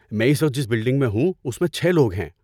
میں اس وقت جس بلڈنگ میں ہوں، اس میں چھے لوگ ہیں